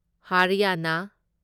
ꯍꯔꯌꯥꯅ